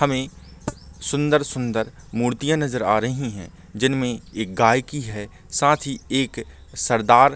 हमे सुन्दर-सुन्दर मूर्तियां नज़र आ रही है जिन मे एक गाय की है साथ ही एक सरदार--